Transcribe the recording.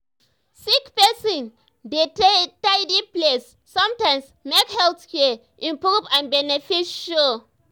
sick person dey tidy place sometimes make health care improve and benefit show.